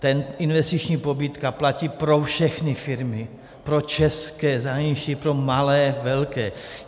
Ta investiční pobídka platí pro všechny firmy, pro české, zahraniční, pro malé, velké.